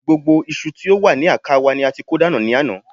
Gbogbo iṣu tí ó wà ní àká wa ni a ti kó dànù ní àná